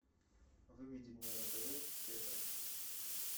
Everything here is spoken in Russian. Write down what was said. выведи мне на тв ретро